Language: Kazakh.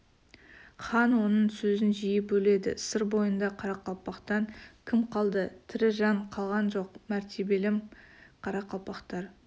хан оның сөзін жиі бөледі сыр бойында қарақалпақтан кім қалды тірі жан қалған жоқ мәртебелім қарақалпақтар